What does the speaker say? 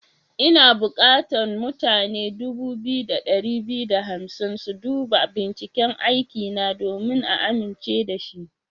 Ina bukatan mutane dubu biyu da dari biyu da hamsin su duba binciken aikina domin a amince da shi.